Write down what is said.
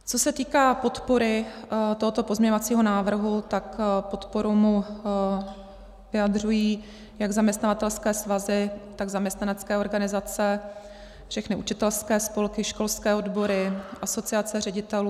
Co se týká podpory tohoto pozměňovacího návrhu, tak podporu mu vyjadřují jak zaměstnavatelské svazy, tak zaměstnanecké organizace, všechny učitelské spolky, školské odbory, asociace ředitelů.